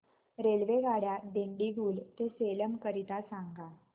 रेल्वेगाड्या दिंडीगुल ते सेलम करीता सांगा